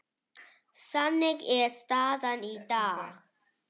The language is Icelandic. Þannig er staðan í dag.